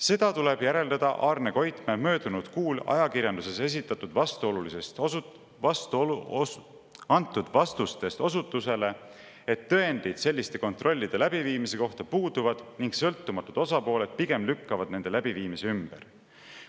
Seda tuleb järeldada Arne Koitmäe möödunud kuul ajakirjanduses antud vastustest osutustele, et tõendid selliste kontrollide läbiviimise kohta puuduvad ning sõltumatud osapooled pigem lükkavad nende läbiviimise ümber.